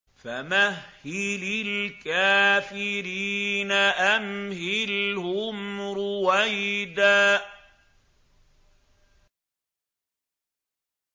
فَمَهِّلِ الْكَافِرِينَ أَمْهِلْهُمْ رُوَيْدًا